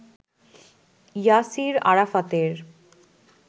ইয়াসির আরাফাতের